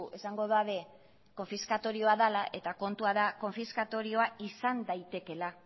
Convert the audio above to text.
esango dute konfiskatorioa dela eta kontua da konfiskatorioa izan daitekeela